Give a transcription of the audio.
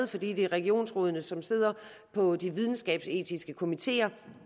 fordi det er regionsrådene som sidder på de videnskabsetiske komiteer